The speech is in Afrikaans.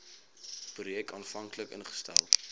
projek aanvanklik ingestel